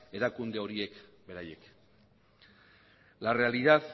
erakunde horiek beraiek la realidad